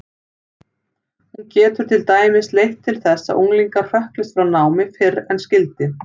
Hún getur til dæmis leitt til þess að unglingar hrökklist frá námi fyrr en skyldi.